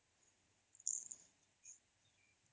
noise